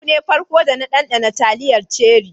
Yau ne farko da na danɗana taliyar ceri.